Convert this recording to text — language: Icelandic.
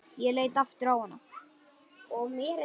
Ég leit aftur á hana.